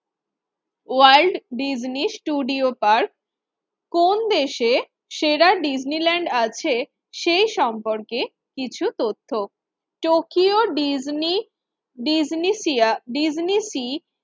world Disney studio park কোন দেশে সেরা ডিজনিল্যান্ড আছে সে সম্পর্কে কিছু তথ্য, Tokyo Disney Disney sea Disney C